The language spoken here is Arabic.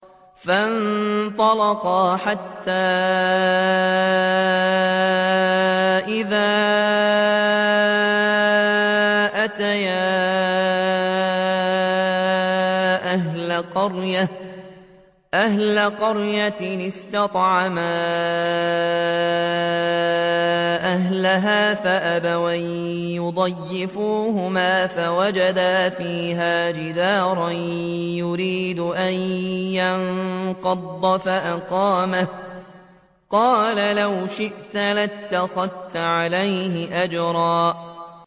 فَانطَلَقَا حَتَّىٰ إِذَا أَتَيَا أَهْلَ قَرْيَةٍ اسْتَطْعَمَا أَهْلَهَا فَأَبَوْا أَن يُضَيِّفُوهُمَا فَوَجَدَا فِيهَا جِدَارًا يُرِيدُ أَن يَنقَضَّ فَأَقَامَهُ ۖ قَالَ لَوْ شِئْتَ لَاتَّخَذْتَ عَلَيْهِ أَجْرًا